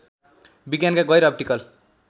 विज्ञानका गैर अप्टिकल